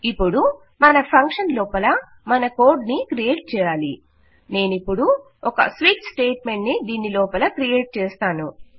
ఇప్పుడు మన ఫంక్షన్ లోపల మన కోడ్ ని క్రియేట్ చేయాలి నేనిప్పుడు ఒక స్విచ్ స్టేట్మెంట్ ని దీనిలోపల క్రియేట్ చేస్తాను